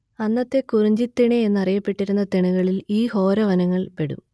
അന്നത്തെ കുറിഞ്ചിതിണൈ എന്നറിയപ്പെട്ടിരുന്ന തിണകളിൽ ഈ ഘോരവനങ്ങൾ പെടും